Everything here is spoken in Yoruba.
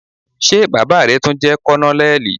Ṣé baba rẹ tun jẹ Kònónélì?